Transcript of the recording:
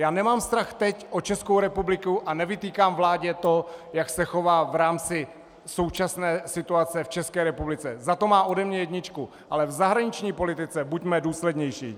Já nemám strach teď o Českou republiku a nevytýkám vládě to, jak se chová v rámci současné situace v České republice, za to má ode mě jedničku, ale v zahraniční politice buďme důslednější.